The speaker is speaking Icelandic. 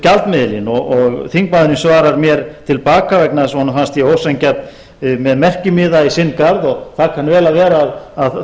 gjaldmiðilinn og þingmaðurinn svarar mér til baka vegna þess að honum fannst ég ósanngjarn með merkimiða í sinn garð og það kann vel að vera að það